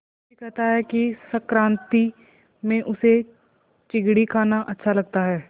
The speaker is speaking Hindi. नरसी कहता है कि संक्रांति में उसे चिगडी खाना अच्छा लगता है